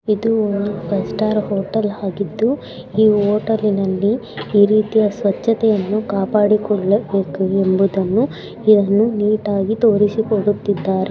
ಇದು ಒಂದು five star hotel ಆಗಿದ್ದು ಈ ಹೋಟೆಲಿನಲ್ಲಿ ಈ ರೀತಿಯ ಸ್ವಚ್ಛತೆಯನ್ನು ಕಾಪಾಡಿಕೊಳ್ಳ ಬೇಕು ಎಂಬುದನ್ನು ನೀಟಾಗಿ ತೋರಿಸಿಕೊಡುತ್ತಿದ್ದಾರೆ.